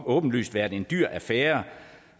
åbenlyst været en dyr affære